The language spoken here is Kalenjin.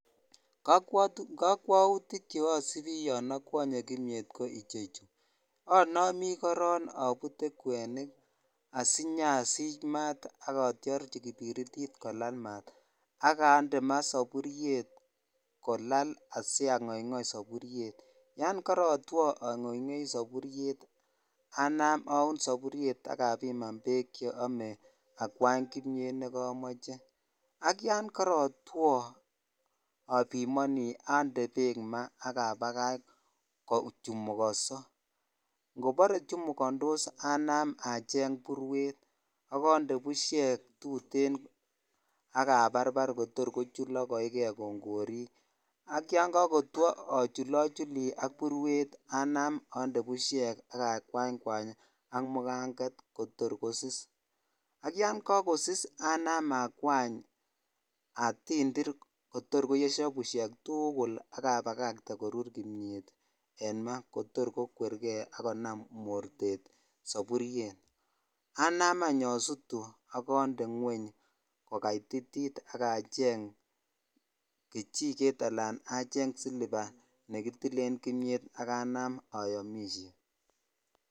Kakwoutik cheasipin yon akwonye kimyet ko ichechu anamin korok abute kwenik asinyasich maat akatyorchi kipiritit kolal maat akande maa sapuriet kolal asiang'oing'oi sapuriet yon karatwo ang'oing'oi sapuriet anaam aun sapuriet akapiman beek cheome akwany kimyet nekamoche ak yon kakotwo apimoni ande beek maa akapakach kochemukonso ngopore chemukondos anaam acheng' purwet akande bushek tutin akaparpar kotor kochulok koekei kongorik ak yon kakotwo achulochuli ak purwet anaam ande bushek akakwaykwany ak mukanget kotor kosis akiyan kakosis anaam akwany atindir kotor koyeisho bushek tugul akapakakte korur kimyet en maa kotor kokwergei akonam mortet sapuriet anaam anyun asutu akande ng'weny kokaititit akacheng' kichiket anan acheng' silipa nekitilen kimyet akanaam ayomishe